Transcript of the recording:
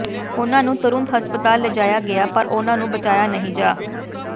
ਉਨ੍ਹਾਂ ਨੂੰ ਤੁਰੰਤ ਹਸਪਤਾਲ ਲਿਜਾਇਆ ਗਿਆ ਪਰ ਉਨ੍ਹਾਂ ਨੂੰ ਬਚਾਇਆ ਨਹੀਂ ਜਾ